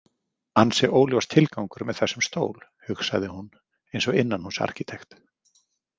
Ansi óljós tilgangur með þessum stól, hugsaði hún eins og innanhúsarkítekt.